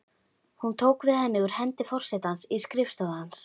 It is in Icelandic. Hún tók við henni úr hendi forsetans í skrifstofu hans.